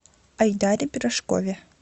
айдаре пирожкове